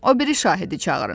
O biri şahidi çağırın.